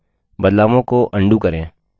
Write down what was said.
बदलावों को undo करें